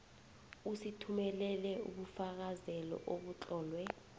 usithumelele ubufakazelo obutlolwe